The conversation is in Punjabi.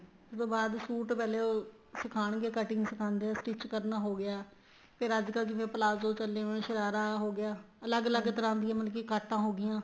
ਜਦੋਂ ਬਾਅਦ suit ਪਹਿਲੇ ਉਹ ਸਿਖਾਣ ਗਏ cutting ਸਿਖਾਦੇ ਹੈ stitch ਕਰਨਾ ਹੋ ਗਿਆ ਫ਼ੇਰ ਅੱਜਕਲ ਜਿਵੇਂ palazzo ਚੱਲੇ ਹੋਏ ਹੈ ਸਰਾਰਾ ਹੋ ਗਿਆ ਅਲੱਗ ਅਲੱਗ ਤਰ੍ਹਾਂ ਦੀਆਂ ਮਤਲਬ ਕੀ ਕਾਟਾ ਹੋ ਗਈਆਂ